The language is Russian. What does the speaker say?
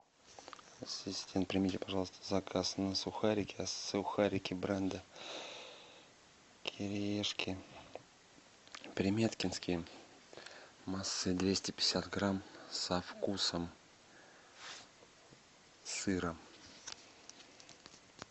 ассистент примите пожалуйста заказ на сухарики сухарики бренда кириешки приметкинские массой двести пятьдесят грамм со вкусом сыра